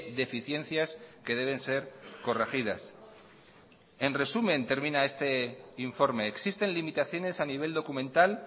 deficiencias que deben ser corregidas en resumen termina este informe existen limitaciones a nivel documental